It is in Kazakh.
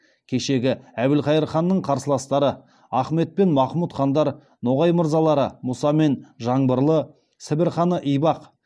кешегі әбілхайыр ханның қарсыластары ахмет пен махмұт хандар ноғай мырзалары мұса мен жаңбырлы сібір ханы ибақ